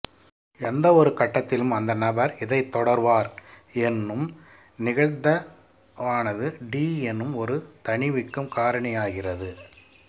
எந்த ஒரு கட்டத்திலும் அந்த நபர் இதைத் தொடர்வார் என்னும் நிகழ்தகவானது டி என்னும் ஒரு தணிவிக்கும் காரணியாகிறது